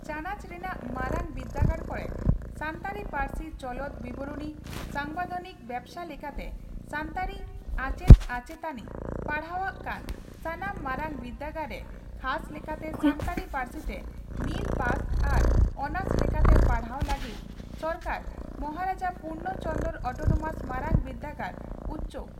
ᱪᱟᱱᱟᱪ ᱨᱮᱱᱟᱜ ᱢᱟᱨᱟᱝ ᱵᱤᱨᱫᱟᱹᱜᱟᱲ ᱠᱚᱨᱮ ᱥᱟᱱᱛᱟᱲᱤ ᱯᱟᱹᱨᱥᱤ ᱪᱚᱞᱚᱱ ᱵᱤᱵᱚᱨᱚᱬᱤ ᱥᱟᱢᱵᱤᱫᱷᱟᱱᱤᱠ ᱵᱮᱵᱚᱥᱛᱟ ᱞᱮᱠᱟᱛᱮ ᱥᱟᱱᱛᱟᱲᱤ ᱟᱪᱮᱛ ᱟᱪᱮᱛᱟᱱᱤ ᱯᱟᱲᱦᱟᱣᱟᱜ ᱠᱟᱱ ᱥᱟᱱᱟᱢ ᱢᱟᱨᱟᱝ ᱵᱤᱨᱰᱟᱹᱜᱟᱲ ᱨᱮ ᱠᱷᱟᱥ ᱞᱮᱠᱟᱴᱮ ᱥᱟᱱᱛᱟᱲᱤ ᱯᱟᱹᱨᱥᱤᱛᱮ ᱢᱤᱞ ᱯᱟᱥ ᱟᱨ ᱳᱱᱟᱨᱥ ᱞᱮᱠᱟᱛᱮ ᱯᱟᱲᱦᱟᱣ ᱞᱟᱹᱜᱤᱰ ᱥᱚᱨᱠᱟᱨ ᱢᱟᱦᱟᱨᱟᱡᱟ ᱯᱩᱨᱵᱱᱚ ᱪᱚᱱᱫᱽᱨᱚ ᱚᱴᱱᱳᱢᱟᱥ ᱢᱟᱨᱟᱝ ᱵᱤᱨᱫᱟᱹᱜᱟᱲ (ᱬᱯᱪ)